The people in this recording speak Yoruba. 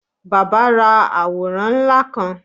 Bàbá ra àworán ńlá kan.